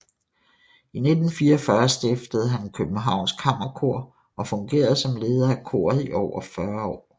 I 1944 stiftede han Københavns Kammerkor og fungerede som leder af koret i over 40 år